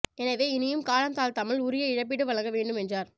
எனவே இனியும் காலம் தாழ்த்தாமல் உரிய இழப்பீடு வழங்க வேண்டும் என்றார்